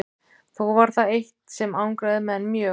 Þó var það eitt sem angraði menn mjög.